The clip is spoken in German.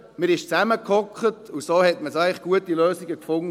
Dann ist man zusammengesessen und hat so eigentlich gute Lösungen gefunden.